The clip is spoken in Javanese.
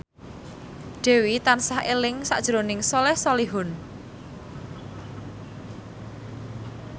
Dewi tansah eling sakjroning Soleh Solihun